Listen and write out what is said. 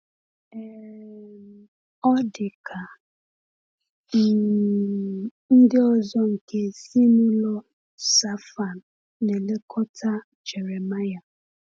um Ọ̀ dị ka um ndị ọzọ nke ezinụlọ Shaphan na-elekọta Jeremiah?